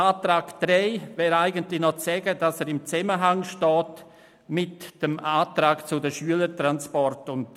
Zu Antrag 3 wäre eigentlich noch zu sagen, dass dieser in einem Zusammenhang mit dem Antrag zu den Schülertransporten steht.